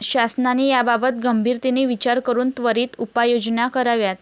शासनाने याबाबत गंभीरतेने विचार करून त्वरित उपाययोजना कराव्यात.